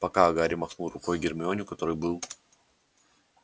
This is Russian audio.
пока гарри махнул рукой гермионе у которой был